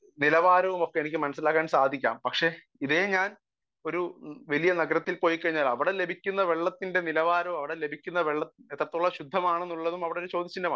speaker 1 നിലവാരമൊക്കെ എനിക്ക് മനസ്സിലാക്കാൻ സാധിക്കാം പക്ഷെ ഇതേ ഞാൻ ഒരുന വലിയ നഗരത്തിൽ പോയിക്കഴിഞ്ഞാൽ അവിടെ എനിക്ക് ലഭിക്കുന്ന വെള്ളത്തിന്റെ നിലവാരവും ലഭിക്കുന്ന വെള്ളം എത്രത്തോളം ശുദ്ധമാണ് എന്നുള്ളതും അവിടെ ഒരു ചോദ്യ ചിഹ്നമാണ്